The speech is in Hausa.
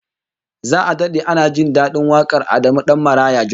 Za'a dade ana jin dadin wakar Adamu Dan Maraya Jos